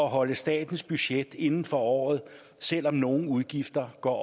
holde statens budget inden for året selv om nogle udgifter går